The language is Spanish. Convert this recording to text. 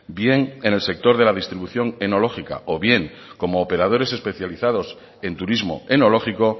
bien en el sector de la distribución enológica o bien como operadores especializados en turismo enológico